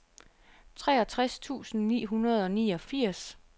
treogtres tusind ni hundrede og niogfirs